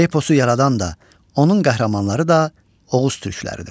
Eposu yaradan da, onun qəhrəmanları da Oğuz türkləridir.